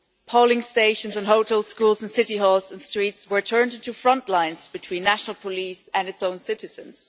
Polling stations and hotels, schools and city halls and streets were turned into front lines between national police and their own citizens.